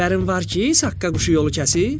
Xəbərin var ki, Saqqa quşu yolu kəsib?